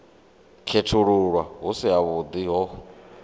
khethululwa hu si havhuḓi ho